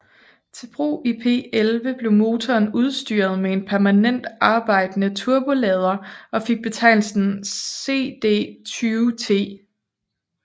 Til brug i P11 blev motoren udstyret med en permanent arbejdende turbolader og fik betegnelsen CD20T